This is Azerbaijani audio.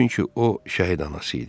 Çünki o şəhid anası idi.